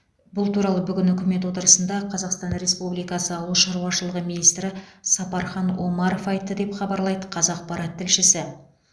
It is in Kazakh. бұл туралы бүгін үкімет отырысында қазақстан республикасы ауыл шаруашылығы министрі сапархан омаров айтты деп хабарлайды қазақпарат тілшісі